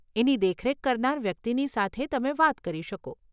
એની દેખરેખ કરનાર વ્યક્તિની સાથે તમે વાત કરી શકો.